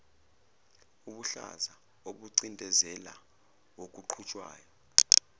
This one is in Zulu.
ubuhlaza obucindezela okuqhutshwayo